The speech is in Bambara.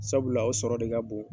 Sabula o sɔrɔ de ka bon.